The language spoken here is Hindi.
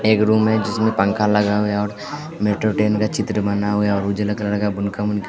एक रूम है जिसमें पंखा लगा हुआ है और मेट्रो ट्रेन का चित्र बना हुआ है और --